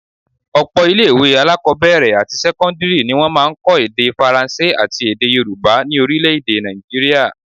Ọ̀pọ̀ ilé-ìwé alákọ́bẹ̀rẹ̀ àti sẹ́kọ́ndírì ni wọ́n máa ń kọ́ èdè Faransé àti èdè Yorùbá ni orílé-èdè Naijiria